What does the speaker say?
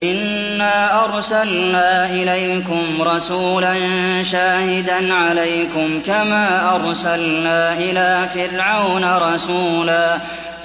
إِنَّا أَرْسَلْنَا إِلَيْكُمْ رَسُولًا شَاهِدًا عَلَيْكُمْ كَمَا أَرْسَلْنَا إِلَىٰ فِرْعَوْنَ رَسُولًا